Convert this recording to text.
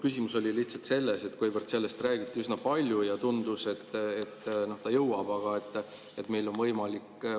Küsimus oli lihtsalt selles, et sellest räägiti üsna palju ja tundus, et ta jõuab.